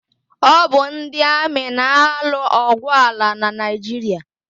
Ọ bụ ndị amị na-alụ ọgwụ ala na Naịjiria.